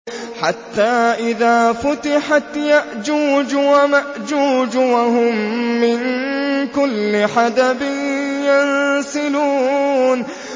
حَتَّىٰ إِذَا فُتِحَتْ يَأْجُوجُ وَمَأْجُوجُ وَهُم مِّن كُلِّ حَدَبٍ يَنسِلُونَ